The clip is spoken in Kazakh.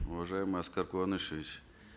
уважаемый аскар куанышевич